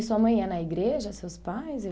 E sua mãe ia na igreja, seus pais?